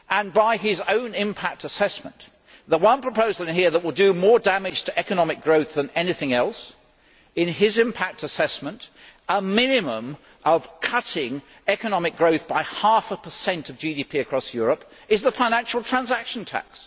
By his own impact assessment, the one proposal in here that will do more damage to economic growth than anything else in his impact assessment a minimum of cutting economic growth by half a percent of GDP across Europe is the financial transaction tax.